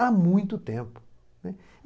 Há muito tempo, né.